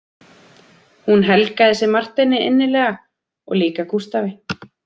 Hún helgaði sig Marteini innilega og líka Gústafi